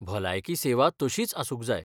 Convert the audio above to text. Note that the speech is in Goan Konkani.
भलायकी सेवा तशींच आसूंक जाय.